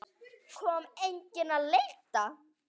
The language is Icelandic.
Kom enginn að leita?